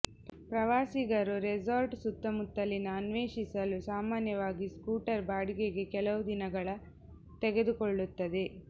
ಪ್ರವಾಸಿಗರು ರೆಸಾರ್ಟ್ ಸುತ್ತಮುತ್ತಲಿನ ಅನ್ವೇಷಿಸಲು ಸಾಮಾನ್ಯವಾಗಿ ಸ್ಕೂಟರ್ ಬಾಡಿಗೆಗೆ ಕೆಲವು ದಿನಗಳ ತೆಗೆದುಕೊಳ್ಳುತ್ತದೆ